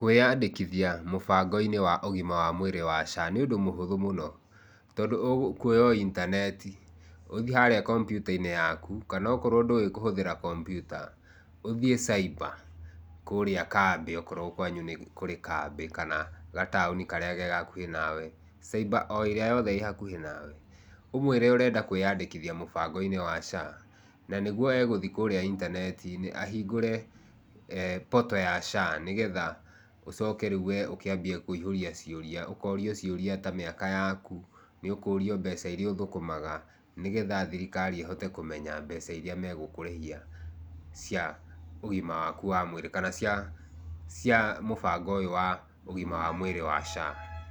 Wĩyandĩkithia mũbango-inĩ wa ũgima wa mwĩrĩ wa SHA nĩ ũndũ mũhũthũ mũno, tondũ ũkuoya o intaneti, ũthiĩ harĩa kompyuta-inĩ yaku, kana akorwo ndũĩ kũhũthĩra kompyuta ũthiĩ caiba, kũrĩa kambĩ akorwo kwanyu nĩ kũrĩ kambĩ kana gataũni karĩa ke hakuhĩ nawe. Caiba o ĩrĩa yothe ĩ hakuhĩ nawe, ũmwĩre ũrenda kwĩyandĩkithia mũbango-inĩ wa SHA na nĩguo egũthiĩ kũrĩa intaneti-inĩ ahingũre portal ya SHA nĩgetha ũcoke rĩu we ũkĩambie kũihũria ciũria. Ũkorio ciũria ta mĩaka yaku, nĩũkũrio mbeca iria ũthũkũmaga nĩgetha thirikari ĩhote kũmenya mbeca iria megũkũrĩhia cia ũgima waku wa mwĩrĩ, kana cia cia mũbango ũyũ wa ũgima wa mwĩrĩ wa SHA.